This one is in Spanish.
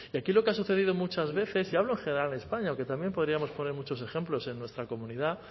y aquí lo que ha sucedido muchas veces y hablo en general en españa aunque también podríamos poner muchos ejemplos en nuestra comunidad